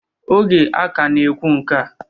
Oge a ka na-ekwu nke a